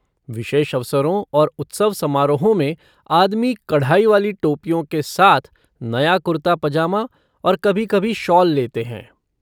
विशेष अवसरों और उत्सव समारोहों में आदमी कढ़ाई वाली टोपियों के साथ नया कुर्ता पजामा और कभी कभी शॉल लेते हैं।